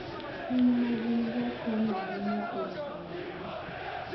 Chuny ma gin-go konyo ahinya e rito ngima.